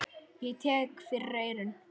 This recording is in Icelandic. Ég tek fyrir eyrun.